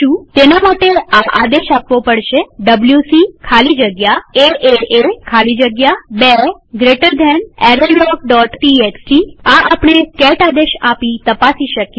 તેના માટે આ આદેશ આપવો પડશે ડબ્લ્યુસી ખાલી જગ્યા એએ ખાલી જગ્યા 2 બે જમણા ખૂણાવાળા કૌંસ errorlogટીએક્સટી આ આપણે કેટ આદેશ આપી તપાસી શકીએ